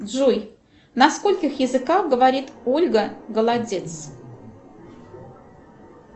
джой на скольких языках говорит ольга голодец